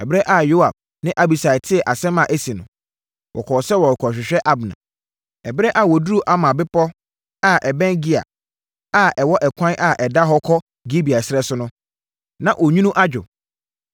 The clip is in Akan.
Ɛberɛ a Yoab ne Abisai tee asɛm a asi no, wɔkɔɔ sɛ wɔrekɔhwehwɛ Abner. Ɛberɛ a wɔduruu Amma bepɔ a ɛbɛn Gia a ɛwɔ ɛkwan a ɛda hɔ kɔ Gibeon ɛserɛ so no, na onwunu adwo.